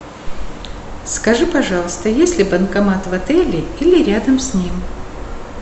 скажи пожалуйста есть ли банкомат в отеле или рядом с ним